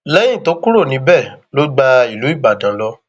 lẹyìn tó kúrò níbẹ ló gba ìlú ibodàn lọ